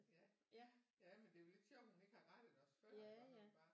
Ja men det er jo lidt sjovt at hun ikke har rettet os før iggå når hun bare